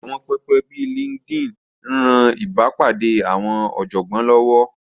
Àwọn pẹpẹ bíi LinkedIn ń ran ìbápàdé àwọn ọ̀jọ̀gbọ́n lọ́wọ́